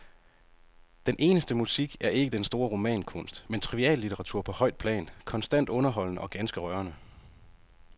Den eneste musik er ikke den store romankunst, men triviallitteratur på højt plan, konstant underholdende og ganske rørende.